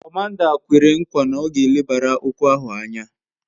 Komanda kwere kwa na ọ ga elebara okwu ahụ anya